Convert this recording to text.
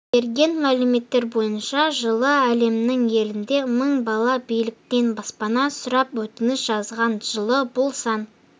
берген мәліметтер бойынша жылы әлемнің елінде мың бала биліктен баспана сұрап өтініш жазған жылы бұл сан